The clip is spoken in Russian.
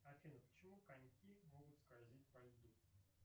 афина почему коньки могут скользить по льду